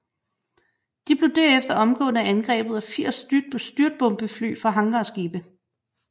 De blev derefter omgående angrebet af 80 styrtbombefly fra hangarskibe